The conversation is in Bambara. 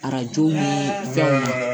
Arajo ni fɛnw